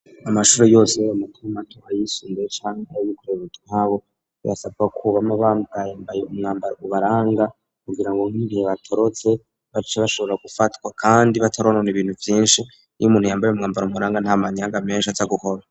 Amashure yose yaba mato mato, ayisumbuye canke ay'abikorera utwabo birasabwa ko bama bambaye umwambaro ubaranga kugira ngo nk'igihe batorotse bace bashobora gufatwa kandi bataronona ibintu vyinshi, iyo umuntu yambaye umwambaro umuranga nta manyanga menshi aja gukora.